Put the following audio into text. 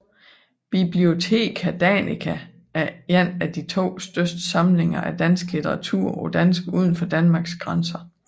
Bibliotheca Danica er en af de to største samlinger af dansk literatur på dansk udenfor Danmarks grænser